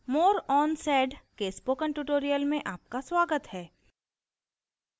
more on sed के spoken tutorial में आपका स्वागत है